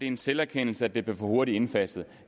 en selverkendelse at det blev for hurtigt indfaset